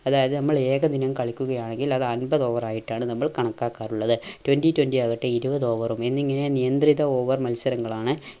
അതായത് നമ്മൾ ഏകദിനം കളിക്കുകയാണെങ്കിൽ അത് under over ആയിട്ടാണ് നമ്മൾ കണക്കാക്കാറുള്ളത് twenty twenty ആകട്ടെ ഇരുപത് over ഉം. എന്നിങ്ങനെ നിയന്ത്രിത over മത്സരങ്ങളാണ്